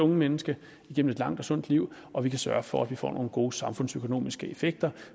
menneske igennem et langt og sundt liv og vi kan sørge for at vi får nogle gode samfundsøkonomiske effekter